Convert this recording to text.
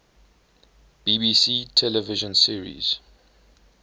bbc television series